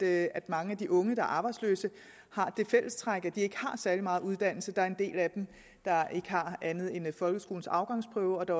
at mange af de unge arbejdsløse har det fællestræk at de ikke har særlig meget uddannelse der er en del af dem der ikke har andet end folkeskolens afgangsprøve og der